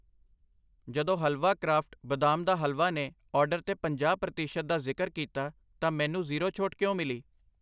ਜਦੋਂ ਹਲਵਾ ਕਰਾਫਟ ਬਦਾਮ ਦਾ ਹਲਵਾ ਨੇ ਆਰਡਰ 'ਤੇ ਪੰਜਾਹ ਪ੍ਰਤੀਸ਼ਤ ਦਾ ਜ਼ਿਕਰ ਕੀਤਾ ਤਾਂ ਮੈਨੂੰ ਜ਼ੀਰੋ ਛੋਟ ਕਿਉਂ ਮਿਲੀ